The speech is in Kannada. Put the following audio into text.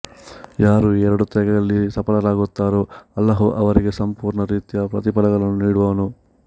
ಯಾರು ಈ ಎರಡು ತ್ಯಾಗಗಳಲ್ಲಿ ಸಫಲರಾಗುತ್ತಾರೋ ಅಲ್ಲಾಹು ಅವರಿಗೆ ಪೂರ್ಣ ರೀತಿಯ ಪ್ರತಿಫಲಗಳನ್ನು ನೀಡುವನು